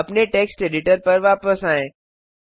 अपने text editor पर वापस आएँ